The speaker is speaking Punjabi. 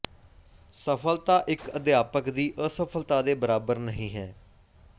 ਸਫ਼ਲਤਾ ਇੱਕ ਅਧਿਆਪਕ ਦੀ ਅਸਫਲਤਾ ਦੇ ਬਰਾਬਰ ਨਹੀਂ ਹੈ